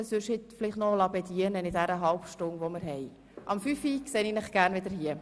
Lassen Sie sich doch in der halben Stunde, die wir nun Pause haben, vielleicht einmal bedienen.